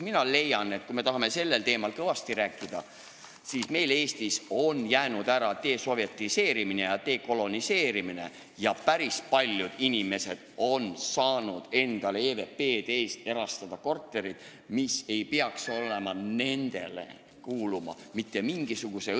Mina leian, et kui me tahame sellel teemal kõvasti rääkida, siis tuleb rääkida ka sellest, et meil Eestis on jäänud ära desovetiseerimine ja dekoloniseerimine ning päris paljud inimesed on saanud EVP-de eest erastada kortereid, mis ei peaks mitte mingisuguse õiguse alusel neile kuuluma.